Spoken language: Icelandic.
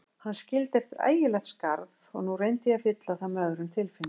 Hann skildi eftir ægilegt skarð og nú reyndi ég að fylla það með öðrum tilfinningum.